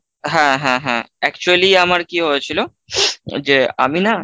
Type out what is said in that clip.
হ্যাঁ, হ্যাঁ, হ্যাঁ Actually আমার কি হয়েছিল? যে আমি না ,